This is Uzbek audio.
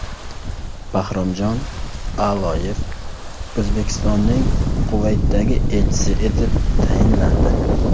Bahromjon A’loyev O‘zbekistonning Kuvaytdagi elchisi etib tayinlandi.